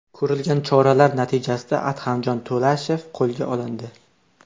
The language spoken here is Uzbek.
Ko‘rilgan choralar natijasida Ahtamjon To‘lashev qo‘lga olindi.